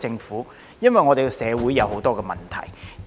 是因為我們社會有很多問題。